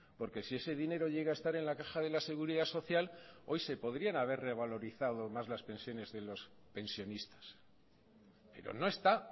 porque si ese dinero llega a estar en la caja de la seguridad social hoy se podrían haber revalorizado más las pensiones de los pensionistas pero no está